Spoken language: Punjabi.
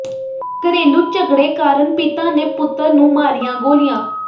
ਘਰੇਲੂ ਝਗੜੇ ਕਾਰਨ ਪਿਤਾ ਨੇ ਪੁੱਤਰ ਨੂੰ ਮਾਰੀਆਂ ਗੋਲੀਆਂ